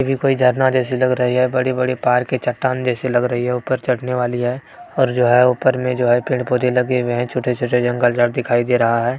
ये भी कोई झरना जैसी लग रही है बड़े-बड़े पहाड़ की चट्टान जैसी लग रही है ऊपर चढ़ने वाली है और जो है ऊपर में जो है पेड़-पौधे लगे हुए है छोटे-छोटे जंगल झाड़ दिखाई दे रहा है।